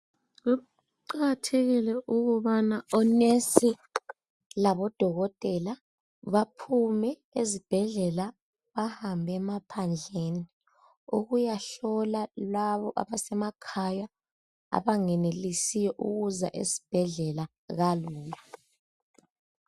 Kuqakathekile ukubana onesi labodokotela baphume ezibhedlela bahambe emaphandleni ukuyahlola laba abasemakhaya abangenelisiyo ukuza esibhedlela kalula.